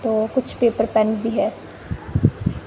तो कुछ paper pen भी है।